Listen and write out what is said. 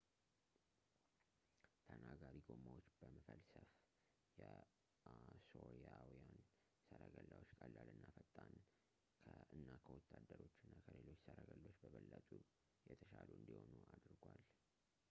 ተናጋሪ ጎማዎች መፈልሰፍ የአሦራውያን ሠረገላዎችን ቀላል እና ፈጣን እና ከወታደሮች እና ከሌሎች ሰረገሎች በበለጠ የተሻሉ እንዲሆኑ አድርጓል